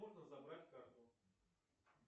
можно забрать карту